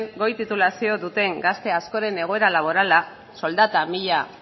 goi titulazioa duten gazte askoren egoera laborala soldata mila